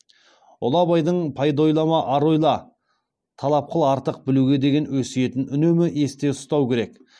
ұлы абайдың пайда ойлама ар ойла талап қыл артық білуге деген өсиетін үнемі есте ұстау керек